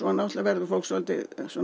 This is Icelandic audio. verður fólk svolítið